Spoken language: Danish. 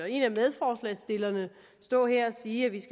en af medforslagsstillerne stå her og sige at vi